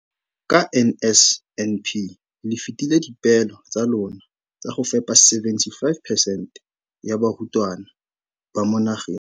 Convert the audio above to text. Ka NSNP le fetile dipeelo tsa lona tsa go fepa masome a supa le botlhano a diperesente ya barutwana ba mo nageng.